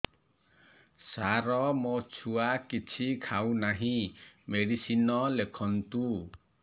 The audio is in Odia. ସାର ମୋ ଛୁଆ କିଛି ଖାଉ ନାହିଁ ମେଡିସିନ ଲେଖନ୍ତୁ